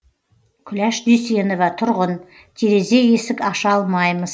күләш дүйсенова тұрғын терезе есік аша алмаймыз